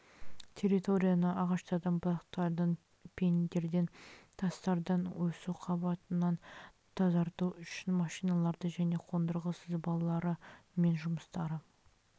территорияны ағаштардан бұтақтардан пеньдерден тастардан өсу қабатынан тазарту үшін машиналары және қондырғы сызбалары мен жұмыстары